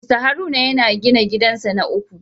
Mr Haruna yana gina gidansa na uku